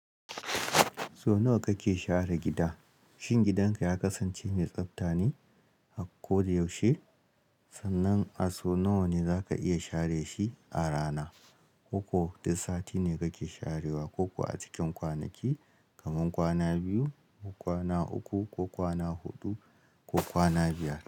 So nawa kake share gida? Shin gidanka ya kasance mai tsafta ne a koyaushe? Sannan a so nawa ne za ka iya share shi a rana? Koko dik sati ne kake sharewa, ko kuwa a cikin kwanaki, kamar kwana biyu ko kwana uku ko kwana huɗu ko kwana biyar.